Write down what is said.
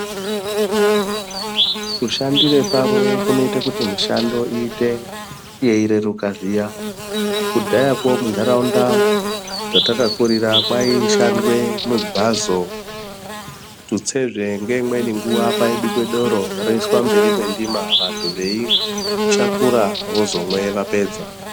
Kushandire pamwe zvinoite kuti mushando iyite yeireruka zviya. Kudhayakwo muntaraunda dzatakakurira kwaishandwe migwazo, tutsezve ngeimweni nguwa kwaibikwe Doro roiswa mberi kwendima vantu veishakura vozomwe vapedza.